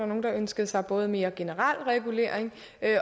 nogle der ønskede sig både mere generel regulering